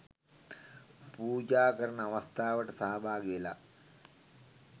පූජා කරන අවස්ථාවට සහභාගිවෙලා